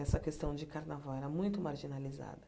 Essa questão de carnaval era muito marginalizada.